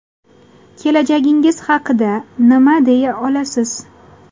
Kelajagingiz haqida nima deya olasiz?